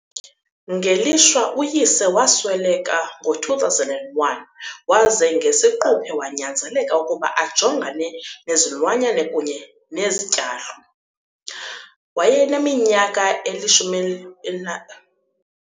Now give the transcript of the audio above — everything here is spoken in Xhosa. Ngelishwa uyise wasweleka ngo-2001 waze ngesiquphe wanyanzeleka ukuba ajongane nezilwanyane kunye nezityalo. Wayeneminyaka eli-10 elina.